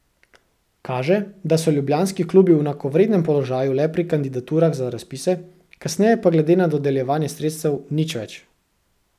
Kaže, da so ljubljanski klubi v enakovrednem položaju le pri kandidaturah za razpise, kasneje pa glede na dodeljevanje sredstev nič več.